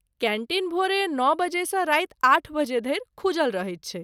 Canteen भोरे नओ बजेसँ राति आठ बजे धरि खुजल रहैत छै।